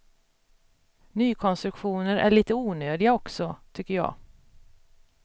Nykonstruktioner är lite onödiga också, tycker jag.